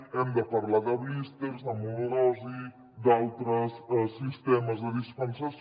hem de parlar de blísters de monodosis d’altres sistemes de dispensació